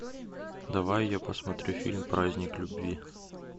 давай я посмотрю фильм праздник любви